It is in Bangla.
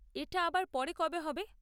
এটা আবার পরে কবে হবে?